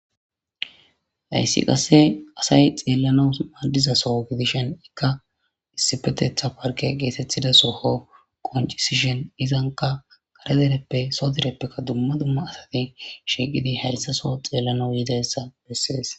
hayssi qasse asay xeellanaw maddiza soo gidishen ikka issipetetha parke geetetthida soho qoncisishen izanka kare dereppe so direppekka dumma dumma asati shiiqidi hayssa soo xeellanaw yizadayssa bessees